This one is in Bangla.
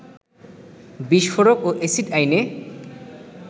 বিস্ফোরক ও এসিড আইনে